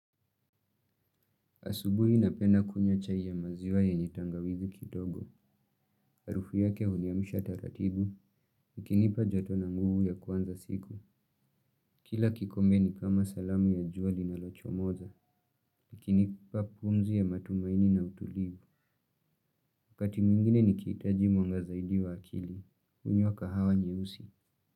Asubuhi napenda kunywa chai ya maziwa yenye tangawizi kidogo. Arufu yake uniamusha taratibu. Ikinipa joto na nguvu ya kuanza siku. Kila kikombe ni kama salamu ya jua linalochomoza. Ikinipa pumzi ya matumaini na utulivu. Wakati mwingine nikihitaji mwanga zaidi wa akili. Hunywa kahawa nyeusi.